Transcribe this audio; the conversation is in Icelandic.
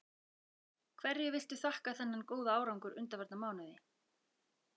Hverju viltu þakka þennan góða árangur undanfarna mánuði?